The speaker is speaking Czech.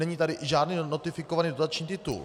Není tady žádný notifikovaný dotační titul.